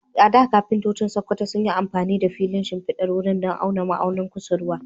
A da, kafintoci a Sakkwato sun yi amfani da filin shimfidar wuri don auna ma'aunin kusurwa.